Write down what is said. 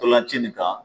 Ntolan ci nin kan